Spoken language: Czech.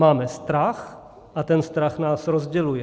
Máme strach a ten strach nás rozděluje.